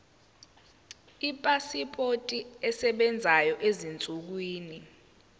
ipasipoti esebenzayo ezinsukwini